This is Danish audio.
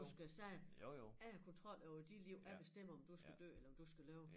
Du skal sige jeg har kontrol over de liv jeg bestemmer om du skal dø eller om du skal leve